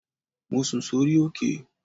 Mo sùn sórí òkè